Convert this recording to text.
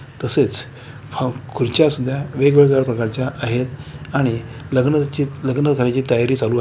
तसेच हम खुर्च्या सुद्धा वेगवेगळ्या प्रकारच्या आहेत आणि लग्न चित लग्न कार्याची तयारी चालू--